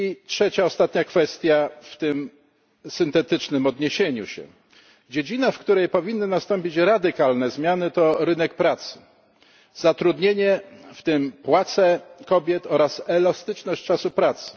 Trzecia i ostatnia kwestia w tym syntetycznym wystąpieniu dziedzina, w której powinny nastąpić radykalne zmiany, to rynek pracy zatrudnienie, w tym płace kobiet, oraz elastyczność czasu pracy.